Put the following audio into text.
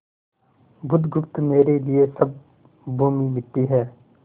बुधगुप्त मेरे लिए सब भूमि मिट्टी है